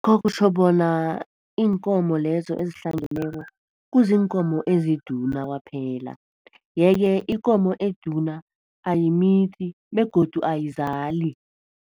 Kutjho bona iinkomo lezo ezihlangeneko kuziinkomo eziduna kwaphela yeke ikomo eduna ayimithi begodu ayizali.